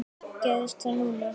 Gerðist það núna?